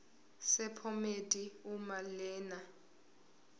sephomedi uma lena